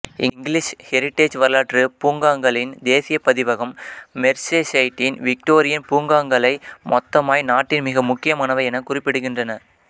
English Heritage வரலாற்று பூங்காங்களின் தேசியப் பதிவகம் மெர்ஸெஸைடின் விக்டோரியன் பூங்காங்களை மொத்தமாய் நாட்டின் மிக முக்கியமானவை எனக் குறிப்பிடுகின்றன